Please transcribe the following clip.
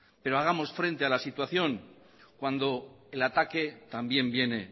pero hagamos frente a la situación cuando el ataque también viene